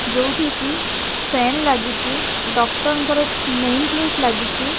ଯୋଉଠି କି ଫ୍ୟାନ ଲାଗିଚି ଡକ୍ଟର ଙ୍କର ନେମ ପ୍ଲେଟ ଲାଗିଚି।